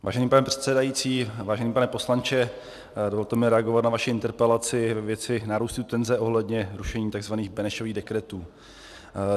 Vážený pane předsedající, vážený pane poslanče, dovolte mi reagovat na vaši interpelaci ve věci nárůstu tenze ohledně rušení tzv. Benešových dekretů.